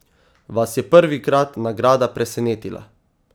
Vas je prvikrat nagrada presenetila?